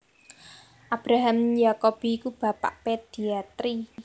Abraham Jacobi iku bapak pediatri